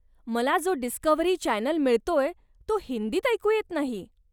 मला जो Discovery channel मिळतोय, तो हिंदीत ऐकू येत नाही.